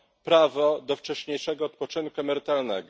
prawo do wcześniejszego odpoczynku emerytalnego.